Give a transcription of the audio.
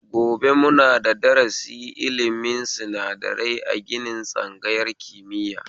Gobe muna da darasi ilimin sinadarai a ginin tsangayar kimiya